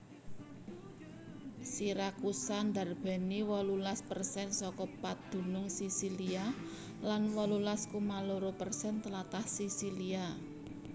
Siracusa ndarbèni wolulas persen saka padunung Sisilia lan wolulas koma loro persen tlatah Sisilia